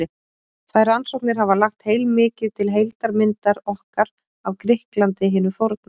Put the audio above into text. þær rannsóknir hafa lagt heilmikið til heildarmyndar okkar af grikklandi hinu forna